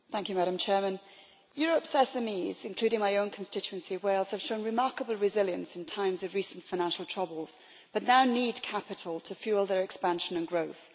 Madam President, Europe's SMEs, including in my own constituency of Wales, have shown remarkable resilience in times of recent financial troubles, but now need capital to fuel their expansion and growth.